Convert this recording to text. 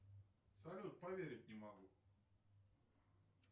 салют поверить не могу